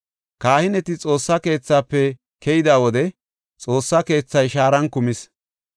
Kahineti Xoossa keethafe keyida wode Xoossa keethay shaaran kumis.